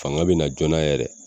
Fanga bina joona yɛrɛ